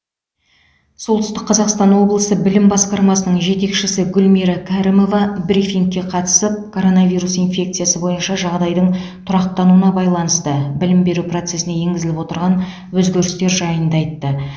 солтүстік қазақстан облысы білім басқармасының жетекшісі гүлмира кәрімова брифингке қатысып коронавирус инфекциясы бойынша жағдайдың тұрақтануына байланысты білім беру процесіне енгізіліп отырған өзгерістер жайында айтты